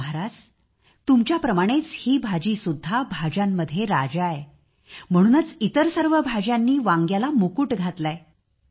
महाराज तुमच्याप्रमाणेच ही भाजी सुद्धा भाज्यांमध्ये राजा आहे म्हणूनच इतर सर्व भाज्यांनी वांग्याला मुकुट घातला आहे